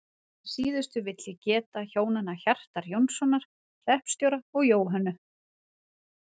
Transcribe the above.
Að síðustu vil ég geta hjónanna Hjartar Jónssonar hreppstjóra og Jóhönnu